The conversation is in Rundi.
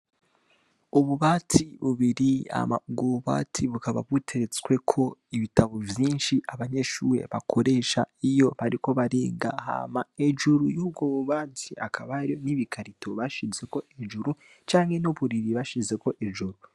Ububati bubiri hama ubwo bubati bukaba buteretsweko ibitabo vyinshi abanyeshure bakoresha iyo bariko bariga hama hejuru yubwo bu bati hakaba hariho n'ibikarito bashizeko hejuru canke n'uburiri bashizeko hejuru.